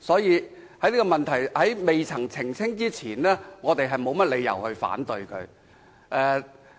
因此，在政府澄清之前，我們沒有甚麼理由反對它。